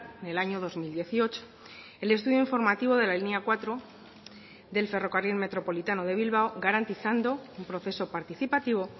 en el año dos mil dieciocho el estudio informativo de la línea cuatro del ferrocarril metropolitano de bilbao garantizando un proceso participativo